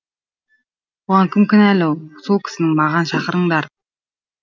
бұған кім кінәлі сол кісіні маған шақырыңдар